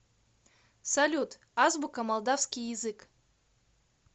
салют азбука молдавский язык